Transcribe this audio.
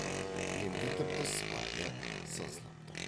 енді тіпті сыпайы сызылып тұр